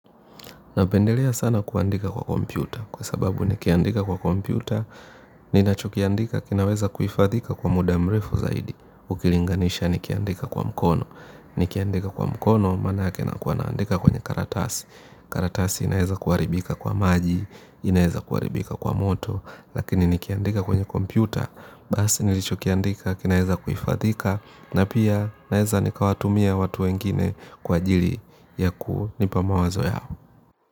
Napendelea sana kuandika kwa kompyuta, kwa sababu nikiandika kwa kompyuta, ninachokiandika, kinaweza kuhifadhika kwa muda mrefu zaidi, ukilinganisha nikiandika kwa mkono, nikiandika kwa mkono, manake nakuwa naandika kwenye karatasi, karatasi inaweza kuharibika kwa maji, inaweza kuharibika kwa moto, lakini nikiandika kwenye kompyuta, basi nilichokiandika, kinaweza kuhifadhika, na pia naweza nikawatumia watu wengine kwa ajili yakunipa mawazo yao.